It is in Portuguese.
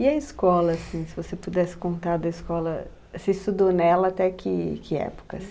E a escola, assim, se você pudesse contar da escola, você estudou nela até que que época,